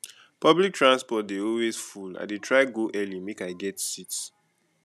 public transport dey always full i dey try go early make i get seat